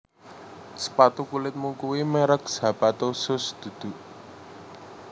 Sepatu kulitmu kui merk Zapato Shoes dudu?